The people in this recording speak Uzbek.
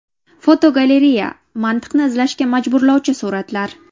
Fotogalereya: Mantiqni izlashga majburlovchi suratlar.